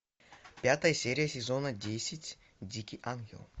пятая серия сезона десять дикий ангел